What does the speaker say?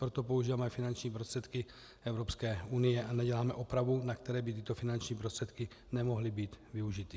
Pro to používáme finanční prostředky Evropské unie a neděláme opravu, na které by tyto finanční prostředky nemohly být využity.